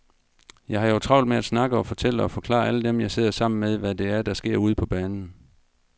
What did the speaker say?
Jeg har jo travlt med at snakke og fortælle og forklare alle dem, jeg sidder sammen med, hvad det er, der sker ude på banen.